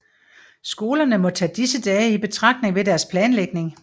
Skolerne må tage disse dage i betragtning ved deres planlægning